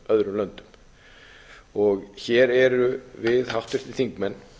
öðrum löndum hér erum við háttvirtir þingmenn